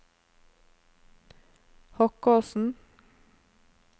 Hokkåsen